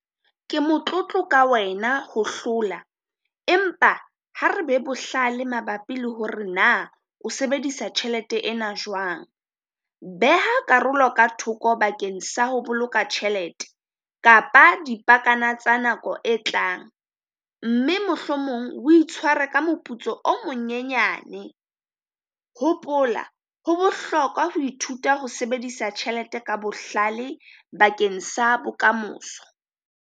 Ke motlotlo ka wena ho hlola, empa ha re be bohlale mabapi le hore na o sebedisa tjhelete ena jwang. Beha karolo ka thoko bakeng sa ho boloka tjhelete kapa dipakana tsa nako e tlang, mme mohlomong o itshware ka moputso o monyenyane. Hopola ho bohlokwa ho ithuta ho sebedisa tjhelete ka bohlale bakeng sa bokamoso.